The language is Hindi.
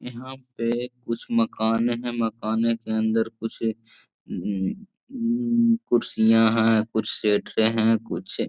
यहाँ पे कुछ मकान हैं मकान के अंदर कुछ उम्म उम्म कुर्सियां हैं कुछ शटरे हैं कुछ --